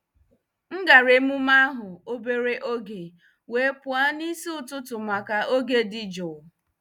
M gara emume ahụ obere oge, wee pụọ n'isi ụtụtụ maka oge dị jụụ.